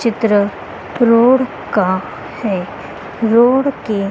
चित्र रोड का है। रोड के--